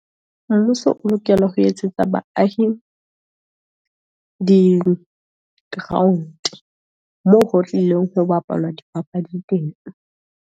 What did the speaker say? Mmuso o lokela ho etsetsa baahi di-ground, moo ho tlileng ho bapalwa dipapadi teng.